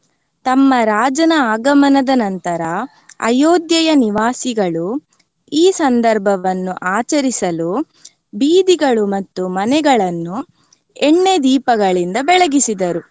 ತಮ್ಮ ರಾಜನ ಆಗಮನದ ನಂತರ ಅಯೋಧ್ಯೆಯ ನಿವಾಸಿಗಳು ಈ ಸಂದರ್ಭವನ್ನು ಆಚರಿಸಲು ಬೀದಿಗಳು ಮತ್ತು ಮನೆಗಳನ್ನು ಎಣ್ಣೆ ದೀಪಗಳಿಂದ ಬೆಳಗಿಸಿದರು.